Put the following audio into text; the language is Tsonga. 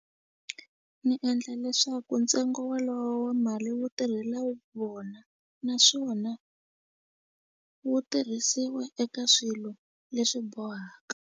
Ni endla leswaku ntsengo walowo wa mali wu tirhela vona naswona wu tirhisiwa eka swilo leswi bohaka.